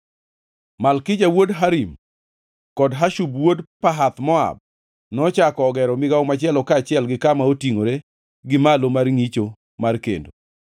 Malkija wuod Harim kod Hashub wuod Pahath-Moab nochako ogero migawo machielo kaachiel gi kama otingʼore gi malo mar ngʼicho mar Kendo.